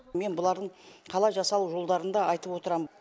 мен бұлардың қалай жасалу жолдарын да айтып отырам